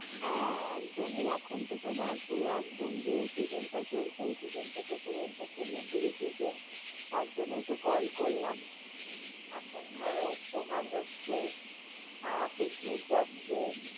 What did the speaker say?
হ্যাঁ, একদমই এখন তো তোমার পুরো একদম যে season টা চলছে, season টা তো পুরো entertainment এরই season তার জন্যই তো কল করলাম। এখন ধরো তোমার হচ্ছে, আঁ পিকনিক যাচ্ছে,